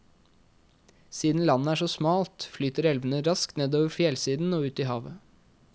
Siden landet er så smalt, flyter elvene raskt nedover fjellsiden og ut i havet.